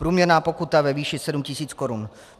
Průměrná pokuta ve výši 7 000 korun.